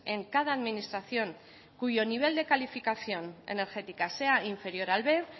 en cada administración cuyo nivel de calificación energética sea inferior al b